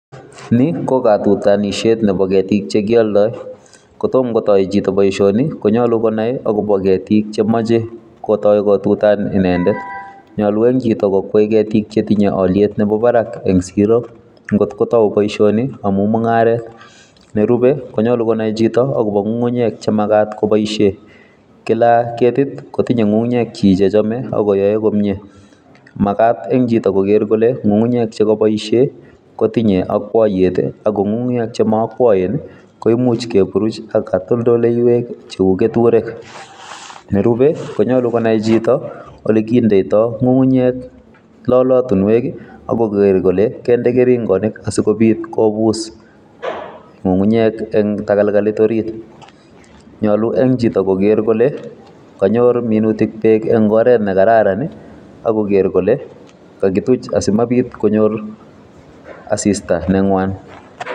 nii ko kotutonisheet chebo ketiik chegioldoo kotomo kotoi chito boishoni konyoluu konaai agobo kettik chemoche kotoii kotutan inendet, nyolu en chito kokwaai ketiik chetinyee oliiet nebobaraak ensigiroo ngot kotouu boishoni amuun mungareet, nerube konyolu konai chito agobo ngungunyeek chemagaat koboisheen kilaa ketit kotinye ngungunyeek chiik chechome agoyoeen komyee magaat en chito kogeer kole ngungunyeek chegoboisheen kotinye okwoyeet iih ak ko ngungunyeek chemookwoeen iih koimuch keburuuch ak katoldoleiweek cheuu ketureek, nerube konyolu konaii chito olegindeitoo ngungunyeek lolotinweek iih agogeer kole konde keringonik asigobiit kobuss ngungunyeek en tagalgalit oriit nyoluu en chito kogerr kole kanyoor minutik beek en oreet negararan iih ak kogerr kole kagituch asimabiit konyoor asista negwaan.